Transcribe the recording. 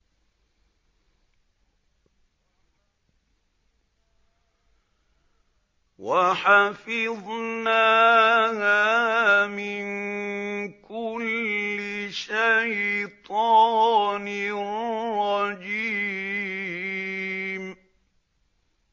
وَحَفِظْنَاهَا مِن كُلِّ شَيْطَانٍ رَّجِيمٍ